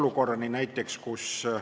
Lugupeetud eesistuja!